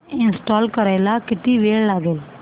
install करायला किती वेळ लागेल